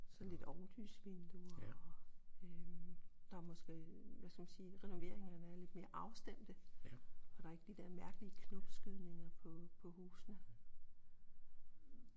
Sådan lidt ovenlysvinduer og øh der måske hvad skal man sige renoveringerne har været lidt mere afstemte og der er ikke de der mærkelige knopskydninger på på husene